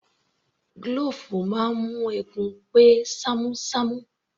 Glove máa ń mú eegun pé ṣamu ṣamu